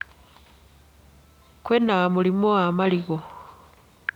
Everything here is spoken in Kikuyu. Kwĩna mũrimu wa marigũ.